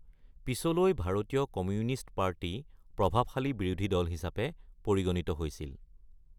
পিছলৈ ভাৰতীয় communist party প্ৰভাৱশালী বিৰোধী দল হিচাপে পৰিগণিত হৈছিল।